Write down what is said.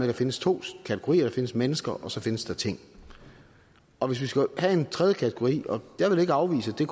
der findes to kategorier der findes mennesker og så findes der ting og hvis vi skal have en tredje kategori og jeg vil ikke afvise det